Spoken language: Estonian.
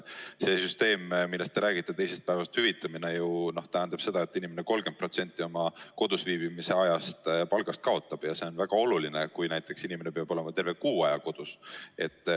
See süsteem, millest te räägite, teisest päevast hüvitamine, tähendab ju seda, et inimene 30% oma palgast kodus viibimise ajal kaotab ja see on väga oluline, kui inimene peab olema terve kuu aja kodus.